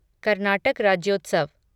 Karnataka Rajyotsav